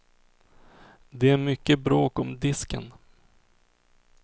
Det är mycket bråk om disken.